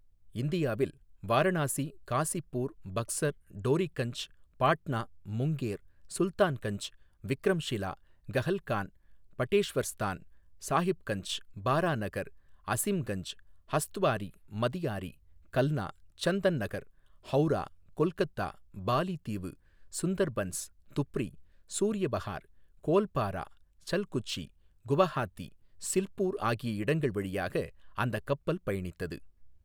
இந்தியாவில் வாரணாசி, காசிப்பூர், பக்ஸர், டோரிகஞ்ச், பாட்னா, முங்கேர், சுல்தான்கஞ்ச், விக்ரம்ஷிலா கஹல்கான், படேஷ்வர்ஸ்தான், சாஹிப்கஞ்ச், பாராநகர், அசிம்கஞ்ச், ஹஸ்த்வாரி, மதியாரி, கல்னா, சந்தன்நகர், ஹவுரா, கொல்கத்தா, பாலி தீவு, சுந்தர்பன்ஸ், துப்ரி, சூர்யபஹார், கோல்பாரா, சல்குச்சி, குவஹாத்தி, சில்பூர் ஆகிய இடங்கள் வழியாக அந்தக் கப்பல் பயணித்தது.